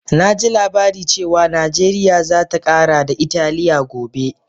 Na ji labari cewa Najeriya za ta kara da Italiya gobe